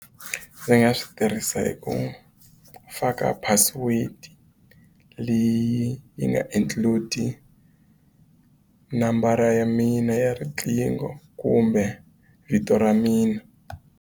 Ndzi nga swi tirhisa hi ku faka password leyi yi nga include nambara ya mina ya riqingho kumbe vito ra mina.